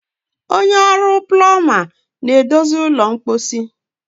onye na-egwu mmiri na-edozi ụlọ mposi